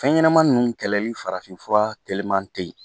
Fɛn ɲɛnɛman nunnu kɛlɛli farafinfura teliman teyi